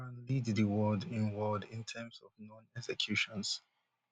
iran lead di world in world in terms of known executions